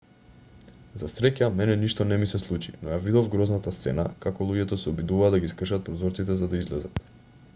за среќа мене ништо не ми се случи но ја видов грозната сцена како луѓето се обидуваа да ги скршат прозорците за да излезат